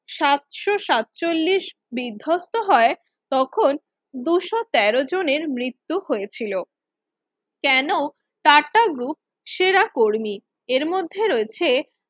সাতষো সাত চল্লিশ বিধ্বস্ত হয় তখন দুইশ তেরো জনের মৃত্যু হয়েছিল কেন টাটা group সেরা কর্মী এর মধ্যে রয়েছে